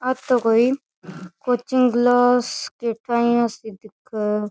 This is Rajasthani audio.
आ तो कोई कोचिंग क्लास से दिखे है।